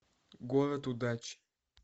город удач